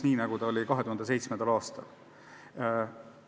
Näiteks 2007. aastal umbes nii oli.